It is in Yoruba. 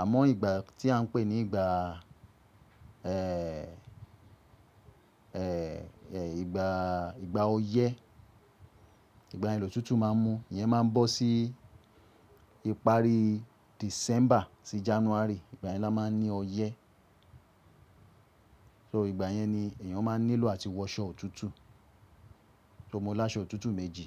Àmọ́ ìgbà tí à ń pè ní ìgbà, ẹ́, ẹ́, ẹ́ ìgbà, ìgbà oyẹ́, ìgbà yẹ ni òtútù máa ń mú, iyẹn máa ń bọ́ sí ìparí December sí January. Ìgbà yẹn la máa ń ní oyẹ́. So ìgbà yẹn ni èèyàn máa ń nílò àti wọ aṣọ òtútù. So mo ní aṣọ òtútù méjì.